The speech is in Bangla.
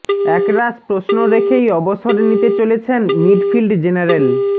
এক রাশ প্রশ্ন রেখেই অবসর নিতে চলেছেন মিডফিল্ড জেনারেল